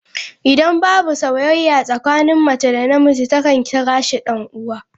Idan babu sauyayya tsakanin Mace da na miji, ta kan kira shi dan'uwa.